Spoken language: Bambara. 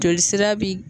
Joli sira bi